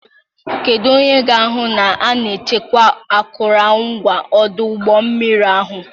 Kedu onye ga-ahụ na a na-echekwa akụrụngwa ọdụ ụgbọ mmiri ahụ?